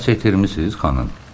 Nəsə itirmisiz, xanım?